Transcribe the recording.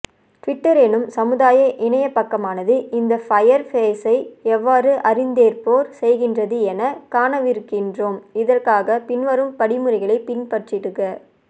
Twitter எனும் சமுதாயஇணையபக்கமானது இந்த ஃபயர் பேஸை எவ்வாறு அறிந்தேற்பு செய்கின்றது என காணவிருக்கின்றோம் இதற்காக பின்வரும் படிமுறைகளை பின்பற்றிடுக